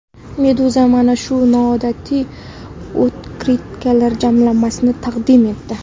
Meduza mana shu noodatiy otkritkalar jamlanmasini taqdim etdi .